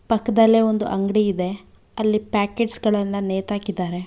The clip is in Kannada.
ಪಕ್ಕದಲ್ಲೇ ಒಂದು ಅಂಗ್ಡಿ ಇದೆ ಅಲ್ಲಿ ಪ್ಯಾಕೆಟ್ಸ್ ಗಳನ್ನ ನೇತಾಕಿದ್ದಾರೆ.